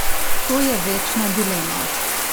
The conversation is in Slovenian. To je večna dilema.